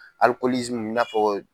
i n'a fɔ